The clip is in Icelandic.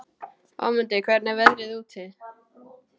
Ámundi, hvernig er veðrið úti?